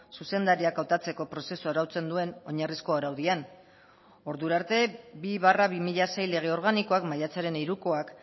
zuzendariak hautatzeko prozesua arautzen duen oinarrizkoa araudian ordura arte bi barra bi mila sei lege organikoak maiatzaren hirukoak